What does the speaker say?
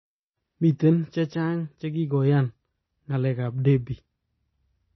Miten chechaang chekikoyaan ak galek ap Debbie